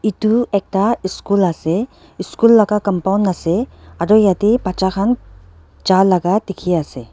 edu ekta eshool ase eschool laka compound ase aro yatae bacha khan jalaka dikhiase.